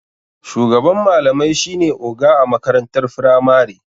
Shugaban malamai shine oga a makarantar firamari.